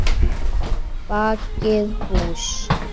Bakið hús.